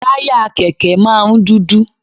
Táyà Kẹ̀kẹ́ máa ń dúdú.